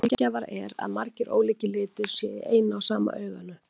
Sjaldgæfara er að margir ólíkir litir séu í eina og sama auganu.